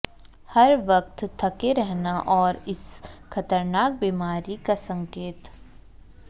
हर वक्त थके रहना है इस खतरनाक बीमारी का संकेत